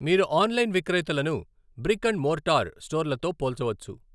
మీరు ఆన్లైన్ విక్రేతలను brick and mortar స్టోర్లతో పోల్చవచ్చు.